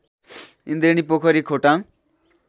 Indreni Pokhari Khotang